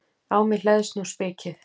Á mig hleðst nú spikið.